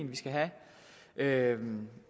vi skal have have